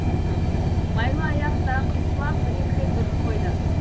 майлыаяқ та қыңсылап бір екі рет үріп қойды